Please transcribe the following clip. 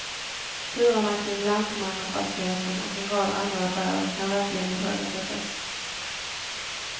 Turerna kring lantmannafastigheten och en rad andra affärer kan verkligen ifrågasättas.